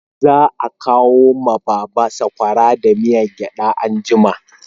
Za a kawo ma baba sakwara da miyan gyada anjima